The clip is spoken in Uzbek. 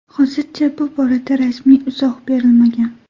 Hozircha bu borada rasmiy izoh berilmagan.